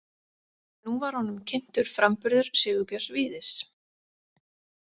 Nú var honum kynntur framburður Sigurbjörns Víðis.